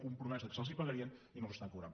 compromès que se’ls pagarien i no els cobren